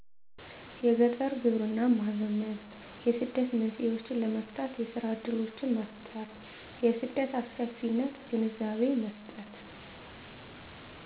የገጠር ግብርናን ማዘመን የስደት መንስኤዎችን ለመፍታት የስራ እድሎችን መፍጠር የስደት አስከፊነት ግንዛቤ መስጠት